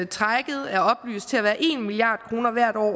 trækket er oplyst til at være en milliard kroner hvert år